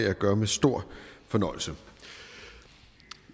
jeg gør med stor fornøjelse